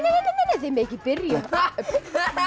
þið megið ekki byrja